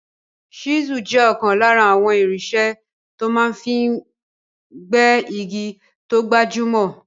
Ṣísùl jẹ́ ọ̀kan lára àwọn irinṣẹ́ tó máa fi n gbẹ́ igi tó gbajúmọ̀